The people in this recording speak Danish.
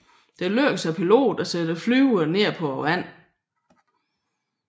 Det lykkedes piloten at sætte flyet ned på vandet